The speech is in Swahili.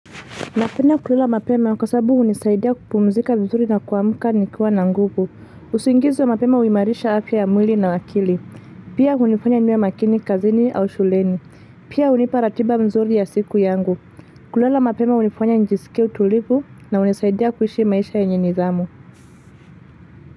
Napenda kulala mapema kwa sababu hunisaidia kupumzika vizuri na kuamuka nikiwa na nguvu, usingizi wa mapema huimarisha afya ya mwili na wa akili, Pia hunifanya niwe makini kazini au shuleni, pia hunipa ratiba mzuri ya siku yangu, kulala mapema hunifanya nijisikia utulivu na hunisaidia kuishi maisha yenye nidhamu.